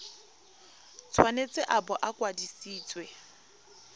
tshwanetse a bo a kwadisitswe